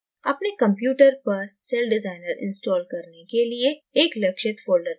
अपने computer पर celldesigner install करने के लिये एक लक्षित folder चुनें